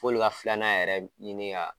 F'olu ka filanan yɛrɛ ɲini ka